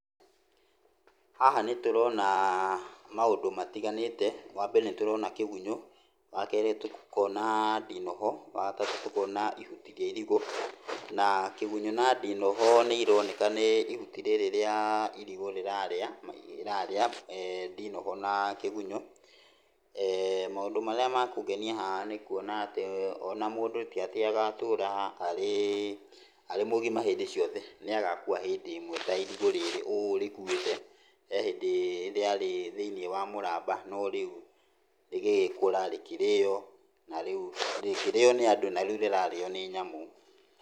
Haha nĩtũrona maũndũ matiganĩte, wambere nĩ tũrona kĩgunyũ, wakerĩ tũkona ndinoho, wagatatũ tũkona ihuti rĩa irigũ, na kĩgunyũ na ndinoho nĩironeka nĩ ihuti rĩrĩ rĩa irigũ rĩrarĩa rĩrarĩa ndinoho na kĩgunyũ eeh. Maũndũ marĩa ma kũngenia haha nĩ kuona atĩ ona mũndũ ti atĩ agatũra arĩ, arĩ mũgima hĩndĩ ciothe, nĩagakua hindĩ ĩmwe ta irigũ rĩrĩ ũũ rĩkuĩte, he hĩndĩ rĩarĩ thĩiniĩ wa mũramba no rĩu rĩgĩgĩkũra, rĩkĩrĩo na rĩu, rĩkĩrĩo nĩ andũ, na rĩu rĩrarĩo nĩ nyamũ.